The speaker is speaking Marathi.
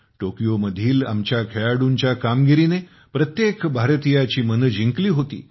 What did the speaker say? टोकियोमधील आमच्या खेळाडूंच्या कामगिरीने प्रत्येक भारतीयाची मने जिंकली होती